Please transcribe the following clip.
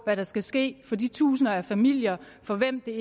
hvad der skal ske for de tusinder familier for hvem det